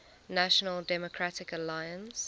national democratic alliance